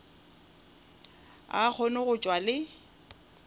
a kgone go tšwa le